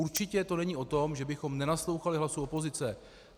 Určitě to není o tom, že bychom nenaslouchali hlasu opozice.